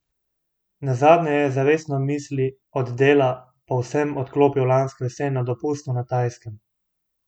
Nazadnje je zavestno misli od dela povsem odklopil lansko jesen na dopustu na Tajskem.